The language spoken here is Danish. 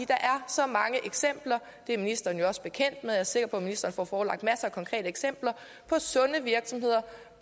der er så mange eksempler det er ministeren jo også bekendt med jeg er sikker på at ministeren får forelagt masser af konkrete eksempler på sunde virksomheder